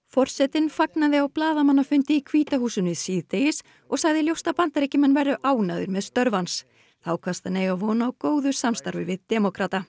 forsetinn fagnaði á blaðamannafundi í hvíta húsinu síðdegis og sagði ljóst að Bandaríkjamenn væru ánægðir með störf hans þá kvaðst hann eiga von á góðu samstarfi við demókrata